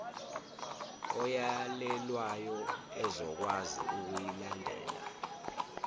oyalelwayo ezokwazi ukuyilandela